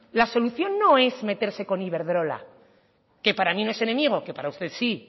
la solución no es meterse con iberdrola que para mí no es enemigo que para usted sí